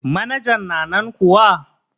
Manajan na nan kuwa?